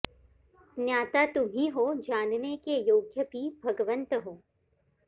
ज्ञाता तुम्हीं हो जानने के योग्य भी भगवन्त् हो